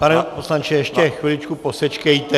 Pane poslanče, ještě chviličku posečkejte.